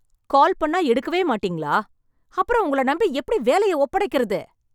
கால் பண்ணா எடுக்கவே மாட்டீங்களா? அப்புறம் உங்கள நம்பி எப்படி வேலையை ஒப்படைக்கிறது?